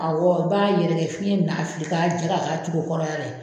Awɔ i b'a yɛrɛkɛ fiyɛn bɛ n'a fili k'a ja ka k'a cogo kɔrɔ la yɛrɛ